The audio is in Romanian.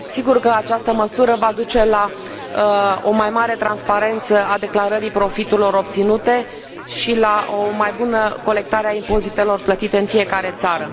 Sigur că această măsură va duce la o mai mare transparență a declarării profiturilor obținute și la o mai bună colectare a impozitelor plătite în fiecare țară.